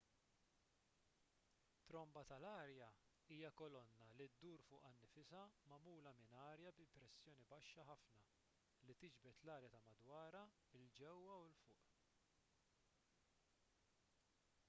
tromba tal-arja hija kolonna li ddur fuqha nfisha magħmula minn arja bi pressjoni baxxa ħafna li tiġbed l-arja ta' madwarha il ġewwa u l fuq